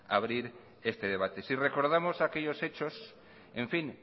abrir este debate si recordamos aquellos hechos en fin